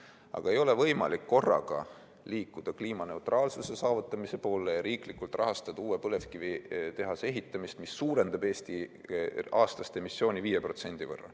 Aga ei ole võimalik korraga liikuda kliimaneutraalsuse saavutamise poole ja riiklikult rahastada uue põlevkivitehase ehitamist, mis suurendab Eesti aastast emissiooni 5%.